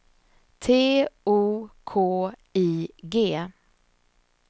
T O K I G